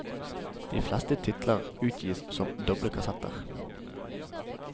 De fleste titler utgis som dobble kassetter.